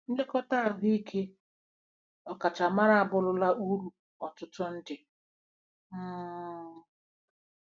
Nlekọta ahụike ọkachamara abụrụla uru ọtụtụ ndị.. um